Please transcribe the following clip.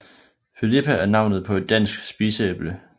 Filippa er navnet på et dansk spiseæble